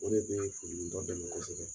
O de bɛ furudimitɔ bɛɛ minɛ na sisan.